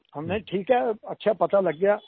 हमने कहा ठीक है अच्छा है पता लग गया